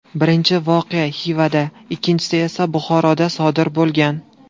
Birinchi voqea Xivada, ikkinchisi esa Buxoroda sodir bo‘lgan.